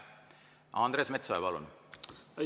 Andres Metsoja, palun!